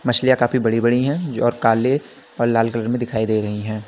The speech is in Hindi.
मछलियां काफी बड़ी बड़ी हैं जो और काले और लाल कलर में दिखाई दे रही हैं।